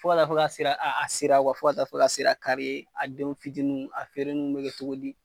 a sera kari ye, a feererin bɛ kɛ cogo di